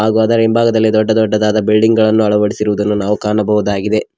ಹಾಗು ಅದರ ಹಿಂಭಾಗದಲ್ಲಿ ದೊಡ್ಡ ದೊಡ್ಡ ಬಿಲ್ಡಿಂಗ್ ಗಳನ್ನು ಅಳವಡಿಸಿರುವುದನ್ನು ನಾವು ಕಾಣಬಹುದಾಗಿದೆ.